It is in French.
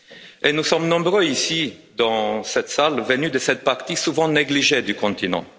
Et nous sommes nombreux ici, dans cette salle, venus de cette partie souvent négligée du continent.